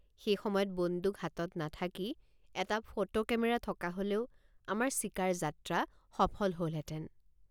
সেই সময়ত বন্দুক হাতত নাথাকি এটা ফটো কেমেৰা থকা হলেও আমাৰ চিকাৰ যাত্ৰ৷ সফল হলহেঁতেন।